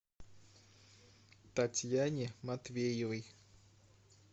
татьяне матвеевой